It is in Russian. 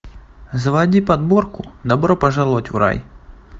заводи подборку добро пожаловать в рай